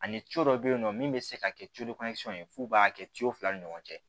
Ani dɔ bɛ yen nɔ min bɛ se ka kɛ ye f'u b'a kɛ fila ni ɲɔgɔn cɛ